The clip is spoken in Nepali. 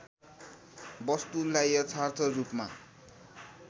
वस्तुलाई यथार्थ रूपमा